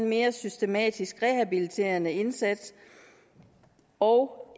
mere systematisk rehabiliterende indsats og